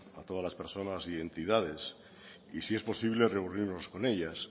a todas las personas y entidades y si es posible reunirnos con ellas